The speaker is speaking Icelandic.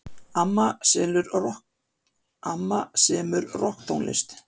Amma semur rokktónlist.